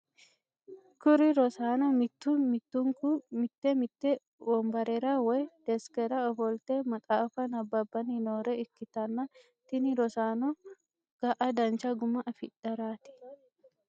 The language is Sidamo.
kuri rossano mittu mittuniku mitte mitte wonibarera woy desikera ofoolite maxaafa nababanni nore ikitana tini rosanono ga'a dancha guma afidharat.